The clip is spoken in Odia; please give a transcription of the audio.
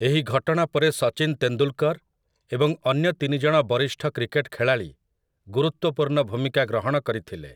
ଏହି ଘଟଣା ପରେ ସଚିନ୍ ତେନ୍ଦୁଲ୍‌କର୍‌ ଏବଂ ଅନ୍ୟ ତିନି ଜଣ ବରିଷ୍ଠ କ୍ରିକେଟ୍ ଖେଳାଳି ଗୁରୁତ୍ୱପୂର୍ଣ୍ଣ ଭୂମିକା ଗ୍ରହଣ କରିଥିଲେ ।